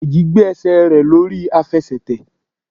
Deji gbé ẹsẹ̀ rẹ̀ lé orí Àfẹsẹ̀tẹ̀.